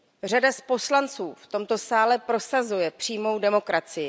Řada poslanců v tomto sále prosazuje přímou demokracii.